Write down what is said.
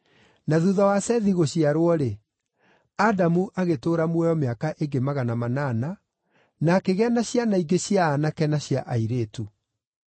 Na thuutha wa Sethi gũciarwo-rĩ, Adamu agĩtũũra muoyo mĩaka ĩngĩ magana manana, na akĩgĩa na ciana ingĩ cia aanake na cia airĩtu.